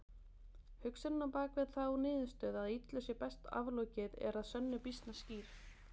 Hugsunin á bakvið þá niðurstöðu að illu sé best aflokið er að sönnu býsna skýr.